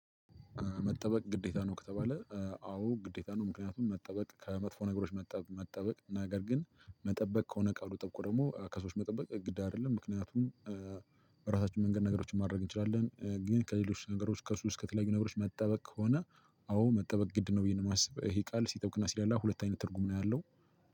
መጠበቅ ግዴታ ነው ከተባለ አዎ ግዴታ ነው ምክንያቱም መጠበቅ ከመጥፎ ነገሮች መጠበቅ ነገር ግን መጠበቅ ከሆነ ቃሉ ጠብቆ ደግሞ ከሰዎች መጠበቅ ግድ አይደለም። ምክንያቱም በራሳችን መንገድ ነገሮችን ማድረግ እንችላለን። ግን ከሌሎች ነገሮች ከሱስ ከተለያዩ ነገሮች መጠበቅ ከሆነ አዎ መጠበቅ ግድ ነው ብዬ ነው እማስብ ይሄ ቃል ሲጠብቅና ሲላላ ሁለት አይነት ትርጉም ነው ያለው።